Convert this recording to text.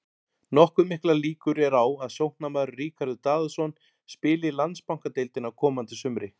Nokkuð miklar líkur eru á að sóknarmaðurinn Ríkharður Daðason spili í Landsbankadeildinni á komandi sumri.